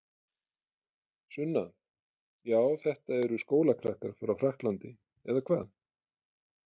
Sunna: Já þetta eru skólakrakkar frá Frakklandi eða hvað?